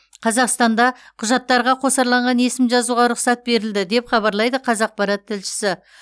қазақстанда құжаттарға қосарланған есім жазуға рұқсат берілді деп хабарлайды қазақпарат тілшісі